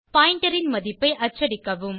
pointer ன் மதிப்பை அச்சடிக்கவும்